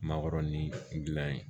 Makɔrɔni dilan yen